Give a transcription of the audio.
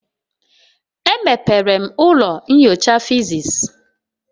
Emepere m ụlọ nyocha physics.